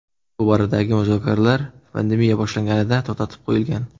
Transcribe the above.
Bu boradagi muzokaralar pandemiya boshlanganida to‘xtatib qo‘yilgan.